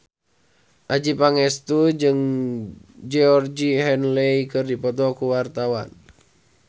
Adjie Pangestu jeung Georgie Henley keur dipoto ku wartawan